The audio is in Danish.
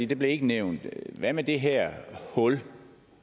det blev ikke nævnt hvad med det her hul